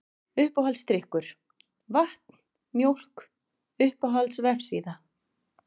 Uppáhaldsdrykkur: Vatn, Mjólk Uppáhalds vefsíða?